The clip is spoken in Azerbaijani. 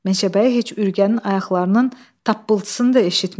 Meşəbəyi heç Ürgənin ayaqlarının tappıltısını da eşitmirdi.